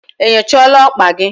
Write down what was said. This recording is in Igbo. Enyochala okpa gi?